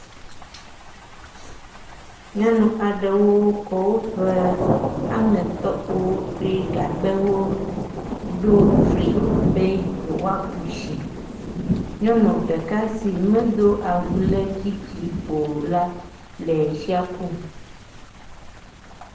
Nyɔnu aɖewo kɔ woƒe aŋetɔkpowo kple gagbɛwo ɖo fli be yewoaku tsi. Nyɔnu ɖeka si medo awu dzi dzi o la le tsia kum.